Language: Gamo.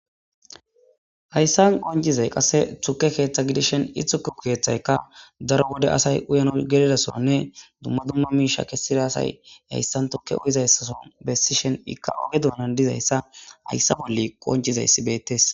Hayissa qoncizayi qassi tuke ketha gidishini he kethayika darro wode assayi uyanawu gelidasoni duma duma misha deèza assayi hayissa tuke uyizasako besishini ika ogge donani gididaya hayisa qonicizayisi betesi.